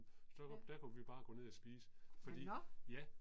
Ja. Nåh nåh